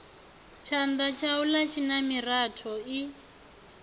tshanda tshaula tshina miratho i